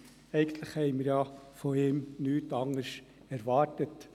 Eigentlich hatten wir von ihm nichts anderes erwartet.